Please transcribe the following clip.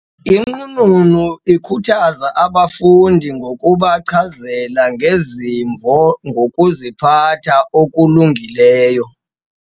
Inqununu ikhuthaza abafundi ngokubachazela ngezimvo ngokuziphatha okulungileyo.